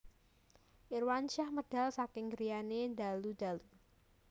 Irwansyah medal saking griyane dalu dalu